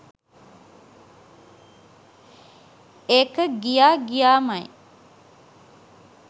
ඒක ගියා ගියාමයි.